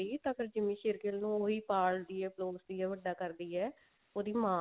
ਵੀ ਤਾਂ ਜਿੰਮੀ ਸ਼ੇਰਗਿੱਲ ਨੂੰ ਉਹੀ ਪਾਲਦੀ ਹੈ ਪਲੋਸਦੀ ਹੈ ਵੱਡਾ ਕਰਦੀ ਹੈ ਉਹਦੀ ਮਾਂ